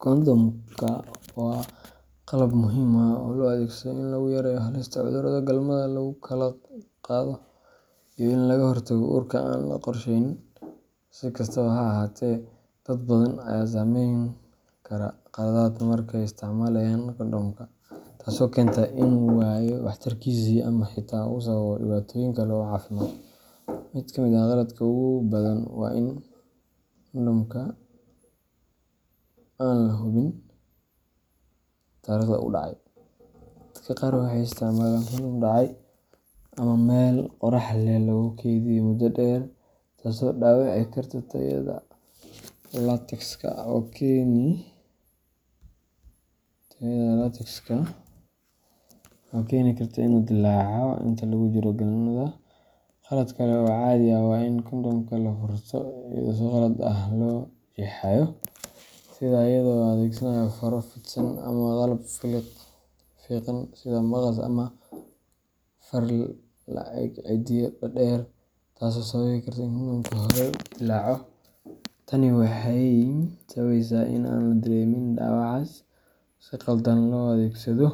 Kondhomka waa qalab muhiim ah oo loo adeegsado in lagu yareeyo halista cudurrada galmada lagu kala qaado iyo in laga hortago uurka aan la qorsheynin. Si kastaba ha ahaatee, dad badan ayaa samayn kara khaladaad marka ay isticmaalayaan kondhomka, taasoo keenta inuu waayo waxtarkiisii ama xitaa uu sababo dhibaatooyin kale oo caafimaad. Mid ka mid ah khaladaadka ugu badan waa in kondhomka aan la hubin taariikhda uu dhacay. Dadka qaar waxay isticmaalaan kondhom dhacay ama meel qorrax leh lagu kaydiyay muddo dheer, taasoo dhaawici karta tayada latexka oo keeni karta inuu dillaaco inta lagu jiro galmada. Khalad kale oo caadi ah waa in kondhomka la furto iyadoo si qalad ah loo jeexayo, sida iyadoo la adeegsanayo faro fidsan ama qalab fiiqan sida maqas ama far la' eg ciddiyo dhaadheer, taasoo sababi karta in kondhomka horey u dillaaco. Tani waxay sababeysaa in aan la dareemin dhaawacaas oo si khaldan loo adeegsado,